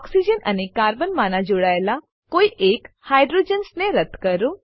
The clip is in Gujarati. ઓક્સિજન અને કાર્બન માના જોડાયેલા કોઈ એક હાઇડ્રોજન્સ ને રદ્દ કરો